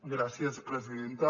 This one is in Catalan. gràcies presidenta